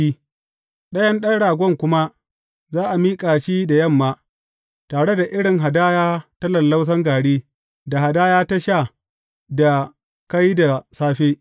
Ɗayan ɗan ragon kuma za a miƙa shi da yamma, tare irin hadaya ta lallausan gari, da hadaya ta sha da ka yi da safe.